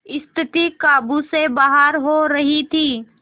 स्थिति काबू से बाहर हो रही थी